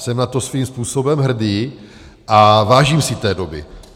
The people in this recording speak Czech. Jsem na to svým způsobem hrdý a vážím si té doby.